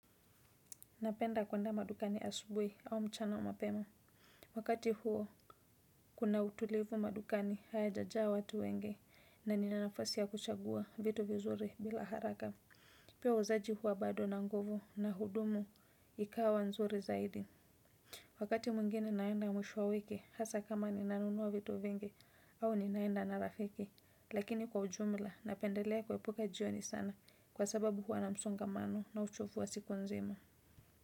Napenda kuenda madukani asubuhi au mchana mapema. Wakati huo, kuna utulivu madukani hayajajaa watu wengi na nina nafasi ya kuchagua vitu vizuri bila haraka. Pia wauzaji huwa bado na nguvu na hudumu ikawa nzuri zaidi. Wakati mwengine naenda mwisho wa wiki, hasa kama ninanunua vitu vingi au ninaenda na rafiki. Lakini kwa ujumla, napendelea kuepuka jioni sana kwa sababu huwa na msongamano na uchofu wa siku nzima.